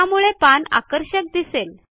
त्यामुळे पान आकर्षक दिसेल